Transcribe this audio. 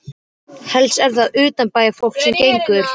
Helst er það utanbæjarfólk sem gengur.